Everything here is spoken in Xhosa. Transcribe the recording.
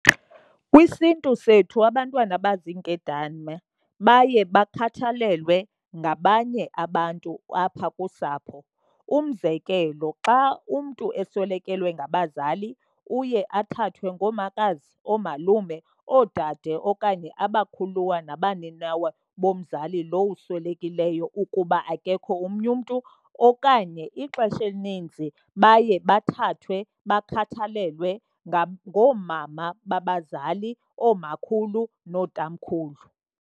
KwisiNtu sethu abantwana abaziinkedama baye bakhathalelwe ngabanye abantu apha kusapho. Umzekelo, xa umntu eswelekelwe ngabazali uye athathwe ngoomakazi, oomalume, oodade okanye abakhuluwa nabaninawa bomzali lo uswelekileyo ukuba akekho omnye umntu. Okanye ixesha elininzi baye bathathwe bakhathalelwe ngoomama babazali, oomakhulu nootamkhulu.